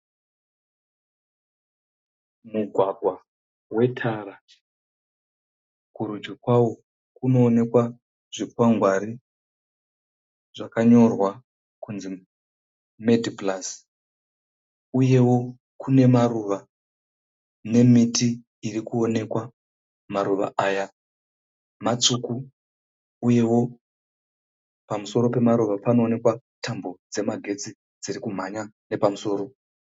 Mugwagwa wetara. Kurudyi kwawo kunoonekwa zvikwangwari zvakanyorwa kunzi (Medi Plus). Uyewo kunemaruva nemiti irikuonekwa. Maruva aya matsvuku uyewo pamusoro pemaruva panoonekwa tambo dzemagetsi dzirikumhanya nepamusoro.